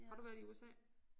Har du været i USA?